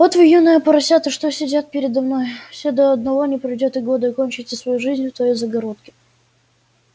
вот вы юные поросята что сидят передо мной все вы до одного не пройдёт и года кончите свою жизнь в той загородке